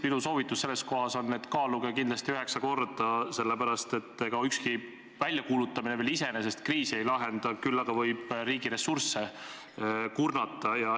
Minu soovitus on, et kaaluge kindlasti üheksa korda, enne kui lõikate, sest ükski väljakuulutamine veel iseenesest kriisi ei lahenda, küll aga võib riigi ressursse kurnata.